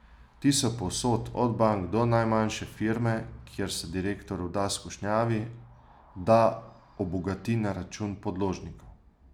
Ti so povsod, od bank do najmanjše firme, kjer se direktor vda skušnjavi, da obogati na račun podložnikov.